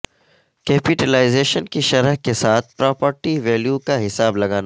capitalisation کی شرح کے ساتھ پراپرٹی ویلیو کا حساب لگانا